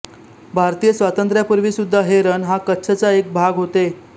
भारतीय स्वातंत्र्यापूर्वीसुद्धा हे रण हा कच्छचा एक भाग होते